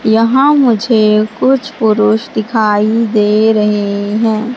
यहां मुझे कुछ पुरुष दिखाई दे रहे हैं।